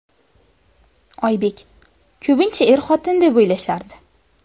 Oybek: Ko‘pincha er-xotin deb o‘ylashardi.